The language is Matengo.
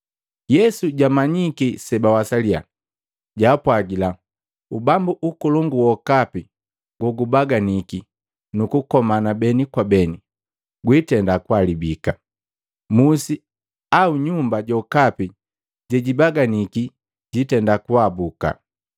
Yesu jamanyiki sebawasaliya, jaapwagila, “Ubambu ukolongu wokapi gogubaganiki nukukomana beni kwa beni, gwitenda kuhalabika. Musi au nyumba jokapi jejibaganiki jitenda kuhabuka.